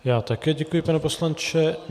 Já také děkuji, pane poslanče.